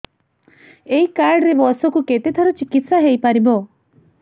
ଏଇ କାର୍ଡ ରେ ବର୍ଷକୁ କେତେ ଥର ଚିକିତ୍ସା ହେଇପାରିବ